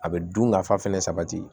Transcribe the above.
A bɛ dun ka fa fɛnɛ sabati